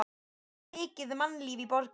Það var mikið mannlíf í borginni.